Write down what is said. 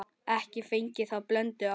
Ekki fengið þá blöndu áður.